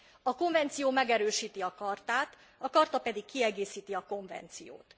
A konvenció megerősíti a chartát, a charta pedig kiegészíti a konvenciót.